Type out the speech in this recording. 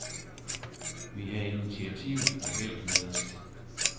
Vi havde initiativet og heldet med os.